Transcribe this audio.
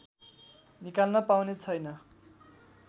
निकाल्न पाउने छैन